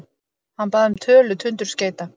Hann bað um tölu tundurskeyta.